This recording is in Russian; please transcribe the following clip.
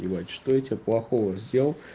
блять что я тебе плохого сделал